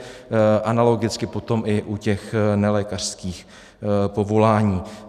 Analogicky potom i u těch nelékařských povolání.